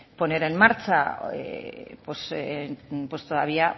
poner en marcha todavía